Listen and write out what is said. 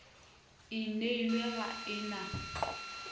e nailwe ga e na